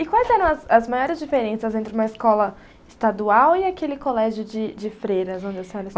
E quais eram as as maiores diferenças entre uma escola estadual e aquele colégio de de freiras onde a senhora